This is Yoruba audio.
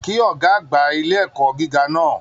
Kí ọgá àgbà ilé ẹ̀kọ́ gíga náà!